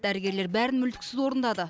дәрігерлер бәрін мүлтіксіз орындады